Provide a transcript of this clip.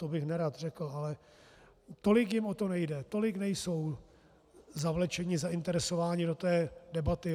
To bych nerad řekl, ale tolik jim o to nejde, tolik nejsou zavlečeni, zainteresováni do té debaty.